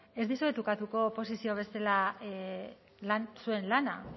ez dizuet ukatuko oposizio bezala zuen lana